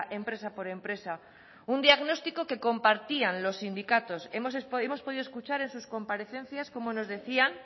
empresa por empresa un diagnóstico que compartían los sindicatos hemos podido escuchar en sus comparecencias cómo nos decían